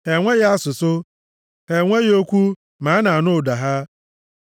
Ha nweghị asụsụ, ha nweghị okwu, ma a na-anụ ụda ha.